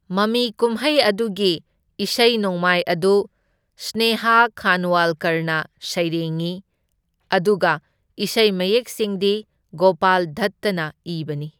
ꯃꯃꯤ ꯀꯨꯝꯍꯩ ꯑꯗꯨꯒꯤ ꯏꯁꯩ ꯅꯣꯡꯃꯥꯏ ꯑꯗꯨ ꯁ꯭ꯅꯦꯍꯥ ꯈꯥꯟꯋꯥꯜꯀꯔꯅ ꯁꯩꯔꯥꯡꯢ ꯑꯗꯨꯒ ꯏꯁꯩ ꯃꯌꯦꯛꯁꯤꯡꯗꯤ ꯒꯣꯄꯥꯜ ꯗꯠꯇꯅ ꯏꯕꯅꯤ꯫